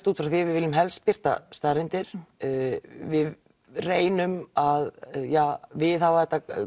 út frá því að við viljum helst birta staðreyndir við reynum að viðhalda